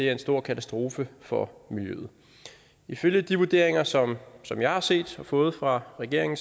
er en stor katastrofe for miljøet ifølge de vurderinger som som jeg har set og fået fra regeringen